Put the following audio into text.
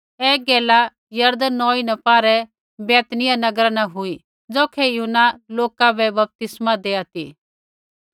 ऐ गैला यरदन नौई न पारै बैतनिय्याह नगरा न हुई ज़ौखै यूहन्ना लोका बै बपतिस्मा देआ ती